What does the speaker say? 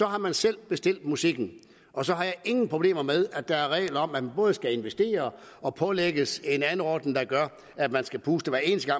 har man selv bestilt musikken og så har jeg ingen problemer med at der er regler om at man både skal investere og pålægges en anordning der gør at man skal puste hver eneste